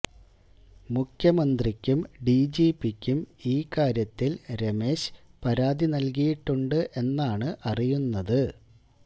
മുഖ്യമന്ത്രിക്കും ഡിജിപിക്കും ഈ കാര്യത്തിൽ രമേശ് പരാതി നൽകിയിട്ടുണ്ട് എന്നാണ് അറിയുന്നത്